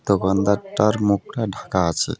দোকানদারটার মুখটা ঢাকা আছে .